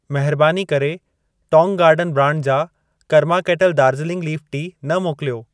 महरबानी करे Tong garden brand जा Karma Kettle Darjeeling leaf tea न मोकिलियो।